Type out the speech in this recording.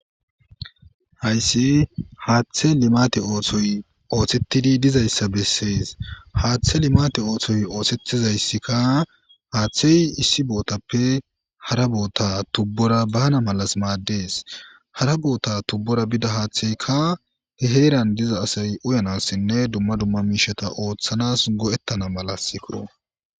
Hayssi haaththe limate oothoy oothettidi dizayssa bessees haaththe limate oothoy oosettizayssikka haaththey issi bootappe hara boota tubbora bana malas maaddees hara boota tubbora bida haaththeykka he heeran diza asay uyanassinne dumma dumma miisheta ooththanas go'ettana malasi kuro.